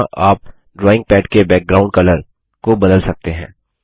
यहाँ आप drawing pad के बैकग्राउंड कलर पृष्ठभूमि रंग को बदल सकते हैं